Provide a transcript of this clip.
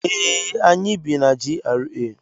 Ee, anyị bi na GRA.